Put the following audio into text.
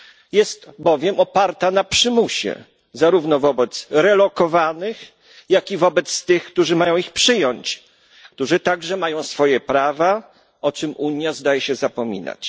Jest bowiem oparta na przymusie zarówno wobec relokowanych, jak i wobec tych, którzy mają ich przyjmować, a którzy także mają swoje prawa, o czym Unia zdaje się zapominać.